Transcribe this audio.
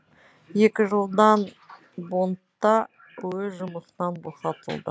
екі жылдан бондта өз жұмысынан босатылды